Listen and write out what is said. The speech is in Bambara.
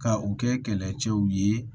Ka u kɛ kɛlɛcɛw ye